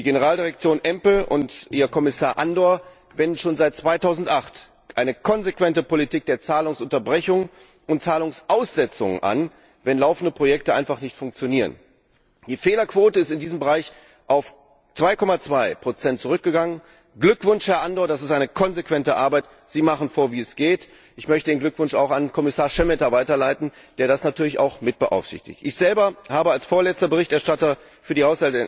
Die Generaldirektion EMPL und ihr Kommissar Andor wenden schon seit 2008 eine konsequente Politik der Zahlungsunterbrechung und Zahlungsaussetzung an, wenn laufende Projekte einfach nicht funktionieren. Die Fehlerquote ist in diesem Bereich auf 2,2 zurückgegangen. Glückwunsch, Herr Andor! Das ist eine konsequente Arbeit, Sie machen vor, wie es geht. Ich möchte den Glückwunsch auch an Kommissar Šemeta weiterleiten, der das natürlich auch mit beaufsichtigt. Ich selber habe als vorletzter Berichterstatter für